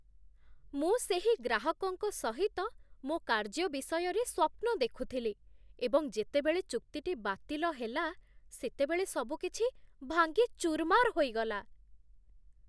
ମୁଁ ସେହି ଗ୍ରାହକଙ୍କ ସହିତ ମୋ କାର୍ଯ୍ୟ ବିଷୟରେ ସ୍ୱପ୍ନ ଦେଖୁଥିଲି ଏବଂ ଯେତେବେଳେ ଚୁକ୍ତିଟି ବାତିଲ ହେଲା, ସେତେବେଳେ ସବୁକିଛି ଭାଙ୍ଗି ଚୁର୍ମାର୍ ହୋଇଗଲା